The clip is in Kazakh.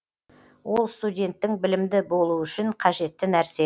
ол студенттің білімді болуы үшін қажетті нәрсе